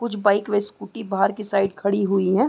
कुछ बाइक व स्कूटी बाहर की साइड खड़ी हुई हैं।